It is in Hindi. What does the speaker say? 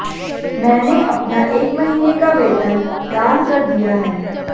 मैंने अपना एक महीने का वेतन दान कर दिया है